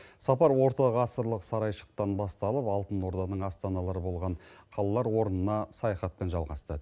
сапар ортағасырлық сарайшықтан басталып алтын орданың астаналары болған қалалар орнына саяхатпен жалғасты